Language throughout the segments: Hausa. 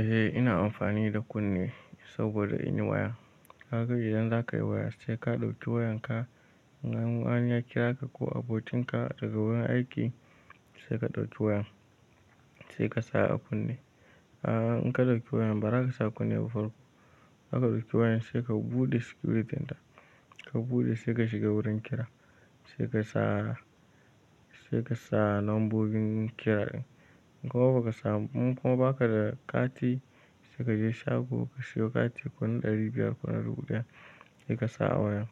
Eh ina amfani da kunne saboda in yi waya. Haka idan za ka yi waya sai ka ɗauki wayanka. In an kira ka ko abokinka daga wurin aiki sai ka ɗauki wayan, sai ka sa a kunne. A'a in ka ɗauki wayan bara haka sa kunne ba farko. Haka ka ɗauki wayan sai ka buɗe securityn ta, ka buɗe sai ka shiga wurin kira, sai ka sa, sai ka sa nombobin kira din. In kuma ba ka sa mun, ko ba ka da kati sai ka je shago ka siyo kati ko na ɗari biyar ko ɗari biyar ko na dubu daya sai ka sa a wayan.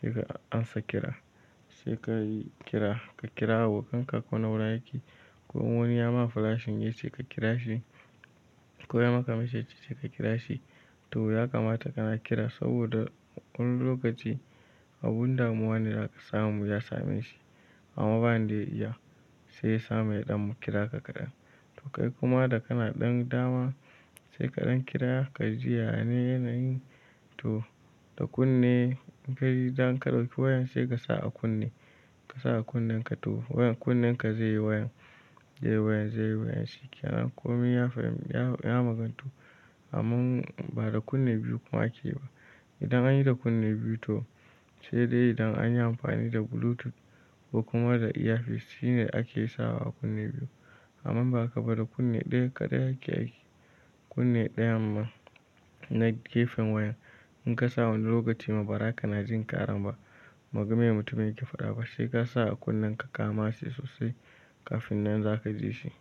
Sai ka ansa kira, sai ka kira, ka kira abokan ka ko na wurin aiki ko wani ya ma flashin yace ka kira shi ko ya maka message sai ka kira shi. To ya kamata kana kira saboda wani lokaci abun damuwa zaka samu ya same shi amma ba in da iya sai ya samu yaɗan kira ka kaɗan. To kai kuma da kana ɗan dama sai kaɗan kira ka ji yaya ne yanayin. To da kunne in ka yi idan ka ɗauki wayan sai ka sa a kunne, ka sa a kunnenka to wayan kunnenka zai yi wayan, zai yi wayan, zai yi wayan shi kenan. Ko me ya fahim, ya maganto amma ba da kunne biyu kuma ake ba. Idan an yi da kunne biyu to sai dai idan an yi amfani da bluetooth ko kuma da earpiece shine ake sawa kunne biyu amma ba haka ba da kunne ɗaya kaɗai yake aiki. Kunne ɗayan man na gefen wayan. In ka sa wani lokaci ma bara kana jin kara ba ma game mutumin yake faɗa ba sai ka sa a kunnenka ka mase sosai kafin nan za ka ji shi.